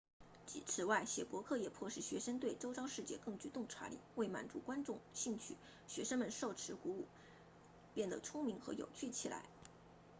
此外写博客也迫使学生对周遭世界更具洞察力为满足观众兴趣学生们受此鼓舞变得聪明和有趣起来